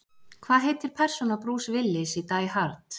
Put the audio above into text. Hvað heitir persóna Bruce Willis í Die Hard?